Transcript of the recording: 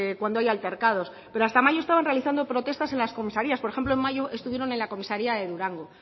cuando hay altercados pero hasta mayo estaba realizando protestas en las comisarías por ejemplo en mayo estuvieron en la comisaría de durango